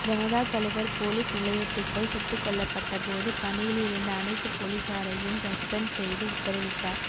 ஜனதா தலைவர் போலீஸ் நிலையத்துக்குள் சுட்டுக் கொல்லப்பட்ட போது பணியில் இருந்த அனைத்து போலீசாரையும் சஸ்பெண்டு செய்து உத்தரவிட்டார்